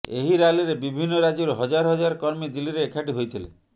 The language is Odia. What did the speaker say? ଏହି ରାଲିରେ ବିଭିନ୍ନ ରାଜ୍ୟରୁ ହଜାର ହଜାର କର୍ମୀ ଦିଲ୍ଲୀରେ ଏକାଠି ହୋଇଥିଲେ